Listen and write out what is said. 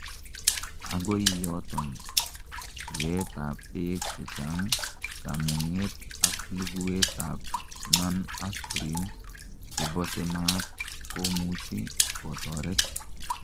agoi yotoni, yeet ab beek chechang, kamunget ak luguwet ab non aspirin chebose maat komuch Kotoret